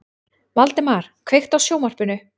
Valdemar, kveiktu á sjónvarpinu.